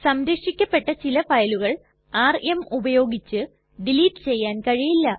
സംരക്ഷിക്കപ്പെട്ട ചില ഫയലുകൾ ആർഎം ഉപയോഗിച്ച് ഡിലീറ്റ് ചെയ്യാൻ കഴിയില്ല